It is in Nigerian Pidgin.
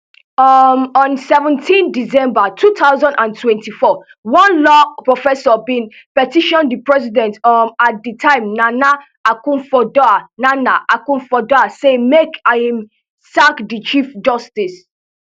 um on seventeen december two thousand and twenty-four one law professor bin petition di president um at di time nana akufoaddo nana akufoaddo say make im sack di chief justice